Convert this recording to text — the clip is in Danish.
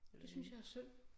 Det synes jeg er synd